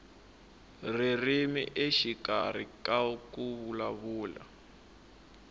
ririmi exikarhi ka ku vulavula